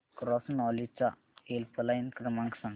cross knowledge चा helpline क्रमांक सांगा